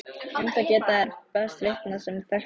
Um það geta þeir best vitnað sem þekktu hann.